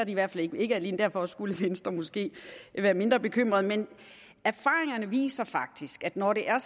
i hvert fald ikke ikke alene derfor skulle venstre måske være mindre bekymret men erfaringerne viser faktisk at når det er